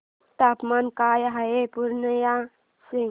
तापमान काय आहे पूर्णिया चे